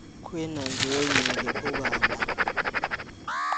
kwĩ na njũũĩ nyingĩ Ũganda.